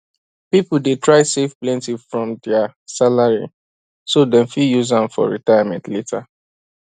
people dey try save plenty from dia salary so dem fit use am for retirement later